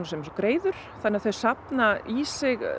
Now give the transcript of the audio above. eins og greiður þannig þau safna í sig